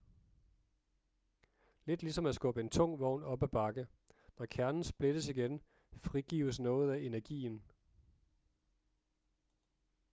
lidt ligesom at skubbe en tung vogn op ad en bakke når kernen splittes igen frigives noget af energien